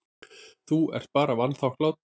Þú ert bara vanþakklát.